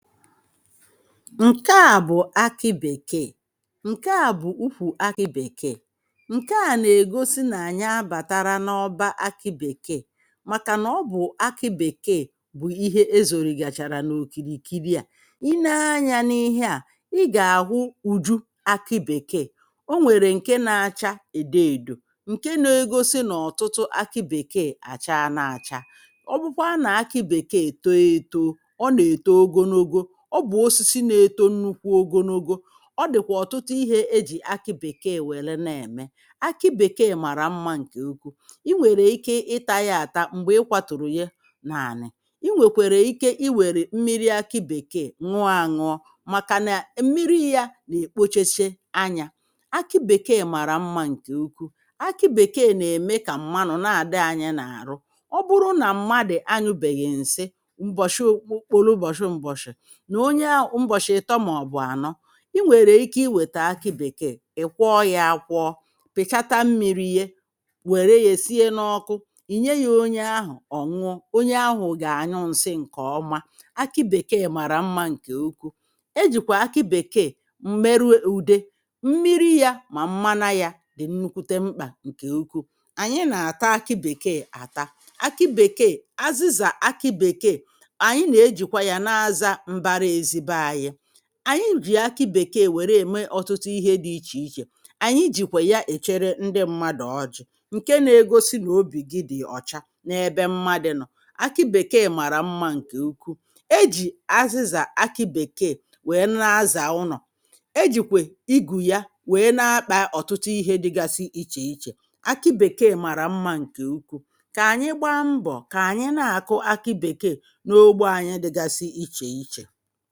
Nke a bụ̀ akị bèkee, ǹke à bụ ukwù akị bèkee, ǹke à nà-ègosi nà anyi a bàtara n’ọbȧ akị bèkee màkà nà ọ bụ̀ akị bèkee bụ̀ ihe ezorị gàchàrà n’okirikiri à, i nee anyȧ n’ihe à ị gà-àhụ ùju akị bèkee o nwèrè ǹke nȧ-ȧchȧ èdo èdò ǹke nȧ-ėgosi nà ọ̀tụtụ akị bèkee àcha na-àcha, ọ bụ̀kwa na akị bekee too etoo ọ na eto ogonogo ọ bụ osisi na-eto nnukwu ogonogo. Ọ dị̀kwà ọ̀tụtụ ihė ejì akị bèkee wère na-ème akị bèkee màrà mmȧ ǹkè ukwu i nwèrè ike ịtȧ ya àta m̀gbè ịkwatụ̀rụ̀ ya n’àna, i nwèkwèrè ike i wèrè mmiri akị bèkeè ñụọ àñụọ màkà na mmiri ya nà-èkpochiche anyȧ, akị bèke màrà mmȧ ǹkè ukwuu, akị bèkei nà-ème kà m̀manụ̀ na-àdị anyị n’àrụ. Ọ bụrụ nà mmadụ̀ anyụbèghì ǹsị m̀bọ̀shi kpụ̀rụ mbọ̀shị mbọ̀shị nà onye ahụ̀ mbọ̀shi ịtọ̀ mà ọ̀ bụ̀ ànọ i nwèrè ike iwètè akị bèkeè ị̀ kwọọ yȧ akwọọ pị̀chata mmiri̇ ye wère yė sie n’ọkụ ì nye yȧ onye ahụ̀ ọ̀nwụọ onye ahụ̀ gà-ànyụ ǹsị ǹkè ọma. Akị bèkeè màrà mmȧ ǹkè ukwu, e jìkwà akị bèkeè mmerụ ụ̀de mmiri yȧ mà mmana yȧ dì nukwute mkpà ǹkè ukwuu, ànyị nà-àta akị bèkeè àta akị bèkeè azịzà akị bèkeè ànyị na-ejìkwa yȧ n’aza mbara ezi be ànyị. Anyị jì akị bèkee wère ème ọtụtụ ihe dị ichè ichè, ànyị jìkwè ya èchere ndị mmadụ ọjị̇ ǹke na-egosi nà obì gị dị̀ ọ̀cha n’ebe mmadị̇ nọ̀ akị bèkee màrà mmȧ ǹkè ukwu ejì azịzà akị bèkeè wèe na-azà ụnọ̀ ejìkwè igù ya wèe na-akpà ọ̀tụtụ ihe dịgasi ichè ichè. Akị bèkeè màrà mmȧ ǹkè ukwu kà ànyị gba mbọ̀ kà ànyị na-àkụ akị bèkeè n’ogbo anyị dịgasi ichè ichè